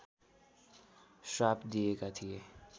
श्राप दिएका थिए